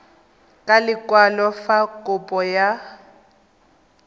ka lekwalo fa kopo ya